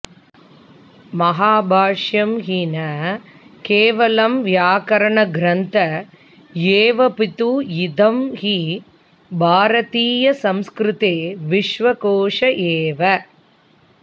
महाभाष्यं हि न केवलं व्याकरणग्रन्थ एवापितु इदं हि भारतीयसंस्कृते विश्वकोश एव